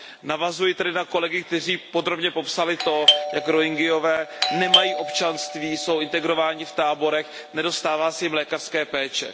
Navazuji tedy na kolegy, kteří podrobně popsali to, jak Rohingyové nemají občanství, jsou internováni v táborech, nedostává se jim lékařské péče.